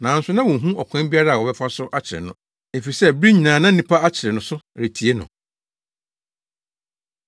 Nanso na wonhu ɔkwan biara a wɔbɛfa so akyere no, efisɛ bere nyinaa na nnipa akyere no so retie no.